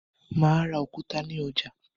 Mà á ra òkúta ní ọjà.